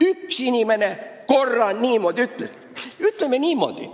Üks inimene korra nii ütles.